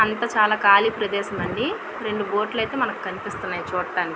అంత చాలా ఖాళీ ప్రదేశం అండి. రెండు బోట్ లు అయితే మనకు కనిపిస్తునాయి చూడటాని--